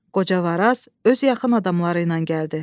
Qoca Varaz öz yaxın adamları ilə gəldi.